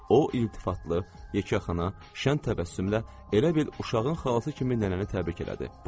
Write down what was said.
O iltifatlı, yekəxana, şənn təbəssümlə elə bil uşağın xalası kimi nənəni təbrik elədi.